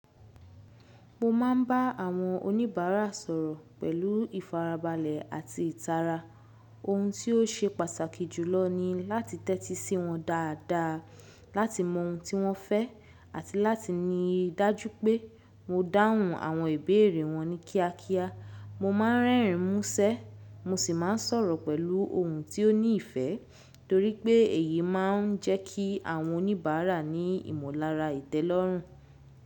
Mo máa ń bá àwọn oníbàárà sọ̀rọ̀ pẹ̀lú ìfarabalẹ̀ àti ìtara. Ohun tí ó ṣe pàtàkì jùlọ ni láti tẹ́tí sí wọn dáadáa, láti mọ ohun tí wọ́n fẹ́, àti láti ní ìdájú pé mo dáhùn àwọn ìbéèrè wọn ní kíákíá. Mo máa ń rẹ́rìn ín mú ṣẹ́, mo sì máa ń sọ̀rọ̀ pẹ̀lú ohùn tí ó ní ìfẹ́, torí pé èyí máa ń jẹ́ kí àwọn oníbàárà ní ìmọ̀lára ìtẹ́lọ́rùn.